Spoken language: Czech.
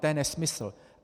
To je nesmysl.